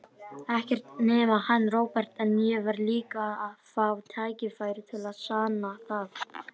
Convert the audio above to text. Ekkert nema hann, Róbert, en ég verð líka að fá tækifæri til að sanna það.